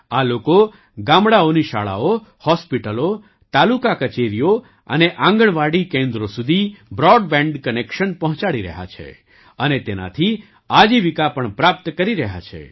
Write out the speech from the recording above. આ લોકો ગામડાંઓની શાળાઓ હૉસ્પિટલો તાલુકા કચેરીઓ અને આંગણવાડી કેન્દ્રો સુધી બ્રૉડબૅન્ડ કનેક્શન પહોંચાડી રહ્યા છે અને તેનાથી આજીવિકા પણ પ્રાપ્ત કરી રહ્યા છે